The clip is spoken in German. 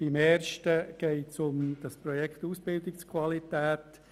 Beim ersten geht es um das Projekt «Ausbildungsqualität».